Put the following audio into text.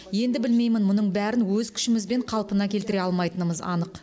енді білмеймін мұның бәрін өз күшімізбен қалпына келтіре алмайтынымыз анық